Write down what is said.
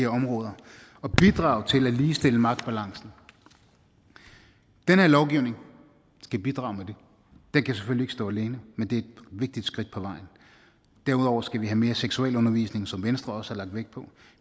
områder og bidrage til at ligestille magtbalancen den her lovgivning skal bidrage med det den kan selvfølgelig ikke stå alene men det er et vigtigt skridt på vejen derudover skal vi have mere seksualundervisning som venstre også har lagt vægt på